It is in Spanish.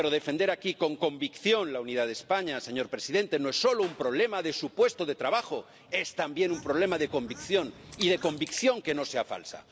Pero defender aquí, con convicción, la unidad de España, señor presidente, no es solo un problema de su puesto de trabajo, es también un problema de convicción, y de convicción que no sea falsa.